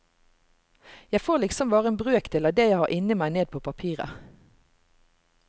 Jeg får liksom bare en brøkdel av det jeg har inni meg ned på papiret.